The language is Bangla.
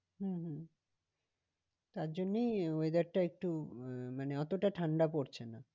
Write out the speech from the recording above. হম হম তার জন্যই weather টা একটু আহ মানে এতটা ঠান্ডা পড়ছে না।